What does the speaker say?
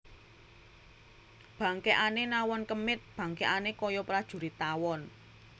Bangkèkané nawon kemit bangkèkané kaya prajurit tawon